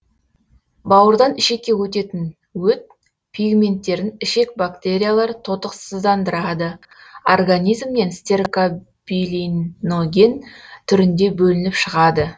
бауырдан ішекке өтетін өт пигменттерін ішек бактериялары тотықсыздандырады организмнен стеркобилиноген түрінде бөлініп шығады